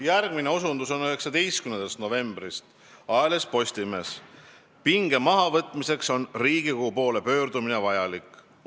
Järgmine osundus on 19. novembri ajalehest Postimees: "Pinge mahavõtmiseks on riigikogu poole pöördumine vajalik.